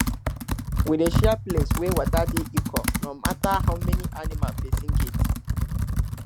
we dey share place wey water dey equal no matter how many animal person get